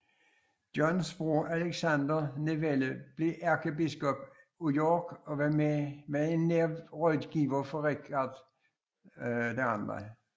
Johns bror Alexander Neville blev ærkebiskop af York og var en nær rådgiver for Richard 2